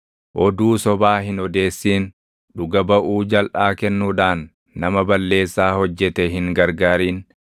“Oduu sobaa hin odeessin; dhuga baʼuu jalʼaa kennuudhaan nama balleessaa hojjete hin gargaarin.